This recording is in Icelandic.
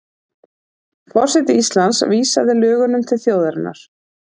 Forseti Íslands vísaði lögunum til þjóðarinnar